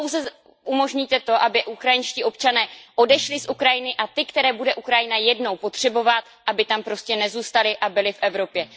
Vy pouze umožníte to, aby ukrajinští občané odešli z Ukrajiny, a ti, které bude Ukrajina jednou potřebovat, aby tam prostě nezůstali a byli v Evropě.